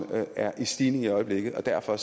er i stigning i øjeblikket og derfor